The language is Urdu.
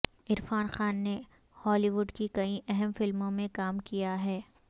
عرفان خان نے ہالی وڈ کی کئی اہم فلموں میں کام کیا ہے